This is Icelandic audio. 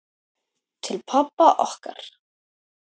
Til pabba okkar.